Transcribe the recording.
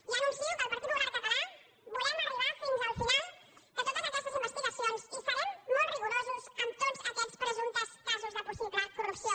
ja anuncio que el partit popular català volem arribar fins al final de totes aquestes investigacions i serem molt rigorosos amb tots aquests presumptes casos de possible corrupció